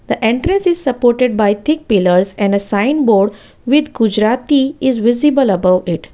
The entrance is supported by thick pillars and a sign board with gujaratI is visible above it.